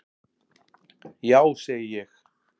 Já segi ég.